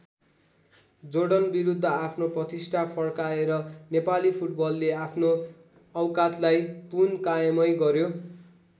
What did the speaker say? जोर्डनविरुद्ध आफ्नो प्रतिष्ठा फर्काएर नेपाली फुटबलले आफ्नो औकातलाई पुन कायमै गर्‍यो।